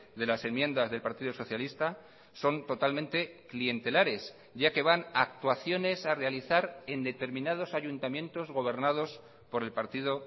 de las enmiendas del partido socialista son totalmente clientelares ya que van a actuaciones a realizar en determinados ayuntamientos gobernados por el partido